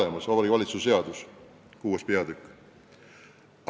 Seda käsitles Vabariigi Valitsuse seaduse 6. peatükk.